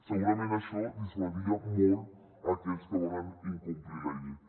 segurament això dissuadiria molt aquells que volen incomplir la llei